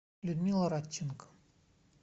людмила радченко